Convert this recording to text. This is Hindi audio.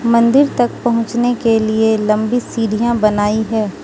मंदिर तक पहुंचने के लिए लंबी सीढ़ियां बनाई है।